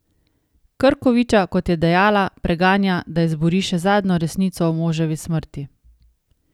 Krkoviča, kot je dejala, preganja, da izbori še zadnjo resnico o moževi smrti.